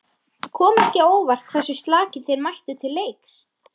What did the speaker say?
Kom ekki á óvart hversu slakir þeir mættu til leiks?